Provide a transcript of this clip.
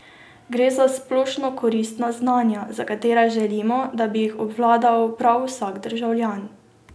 Gre za splošno koristna znanja, za katere želimo, da bi jih obvladal prav vsak državljan.